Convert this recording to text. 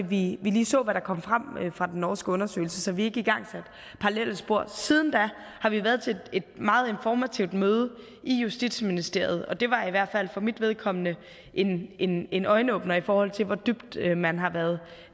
vi lige så hvad der kom frem fra den norske undersøgelse så vi ikke igangsatte parallelle spor siden da har vi været til et meget informativt møde i justitsministeriet og det var i hvert fald for mit vedkommende en en øjenåbner i forhold til hvor dybt man har været